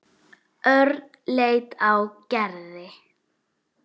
Örn leit á Gerði.